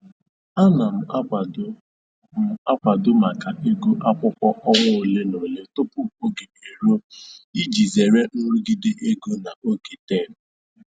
Ana m akwado m akwado maka ego akwụkwọ ọnwa ole na ole tupu oge eruo iji zere nrụgide ego na oge tem